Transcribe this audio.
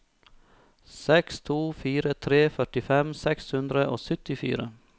seks to fire tre førtifem seks hundre og syttifire